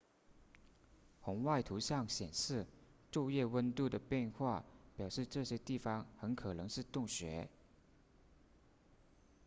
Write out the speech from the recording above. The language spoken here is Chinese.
红外图像显示昼夜温度的变化表示这些地方很可能是洞穴